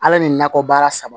Ala ni nakɔ baara saba